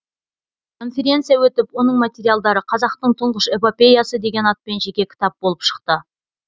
конференция өтіп оның материалдары қазақтың тұңғыш эпопеясы деген атпен жеке кітап болып шықты